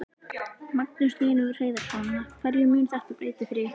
Magnús Hlynur Hreiðarsson: Hverju mun þetta breyta fyrir ykkur?